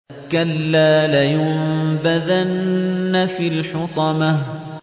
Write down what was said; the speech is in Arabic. كَلَّا ۖ لَيُنبَذَنَّ فِي الْحُطَمَةِ